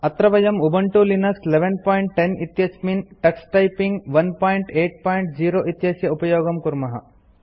अत्र वयं Ubuntu Linux 1110 इत्यस्मिन् टक्स टाइपिंग 180 इत्यस्य उपयोगं कुर्मः